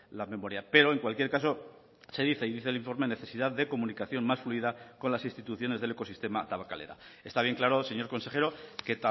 la memoria pero en cualquier caso se dice y dice el informe necesidad de comunicación más fluida con las instituciones del ecosistema tabakalera está bien claro señor consejero que